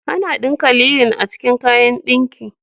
Ana ɗinka lilin a cikin kayan ɗinkin.